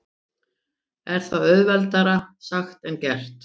En það er auðveldara sagt en gert.